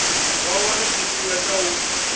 vha wane tshifhinga tsha u